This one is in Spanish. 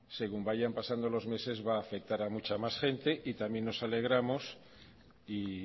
según vayan pasando los meses va a afectar a mucha más gente y también nos alegramos y